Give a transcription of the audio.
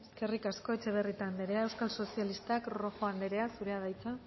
eskerrik asko etxebarrieta anderea euskal sozialistak rojo anderea zurea da hitza